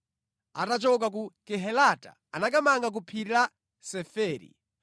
Atachoka ku Kehelata anakamanga ku phiri la Seferi.